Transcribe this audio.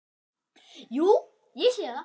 Jú, ég sé það.